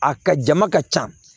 A ka jama ka ca